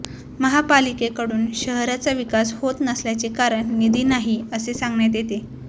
महापालिकेकडून शहराचा विकास होत नसल्याचे कारण निधी नाही असे सांगण्यात येते